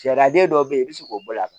Sariyaden dɔw bɛ yen i bɛ se k'o bɔ a kan